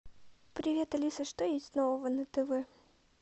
привет алиса что есть нового на тв